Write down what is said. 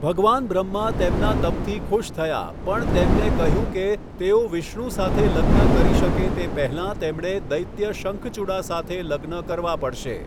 ભગવાન બ્રહ્મા તેમના તપથી ખુશ થયા પણ તેમને કહ્યું કે, તેઓ વિષ્ણુ સાથે લગ્ન કરી શકે તે પહેલાં તેમણે દૈત્ય શંખચુડા સાથે લગ્ન કરવા પડશે.